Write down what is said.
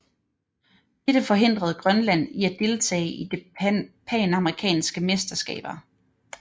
Dette forhindrede Grønland i at deltage i det panamerikanske mesterskaber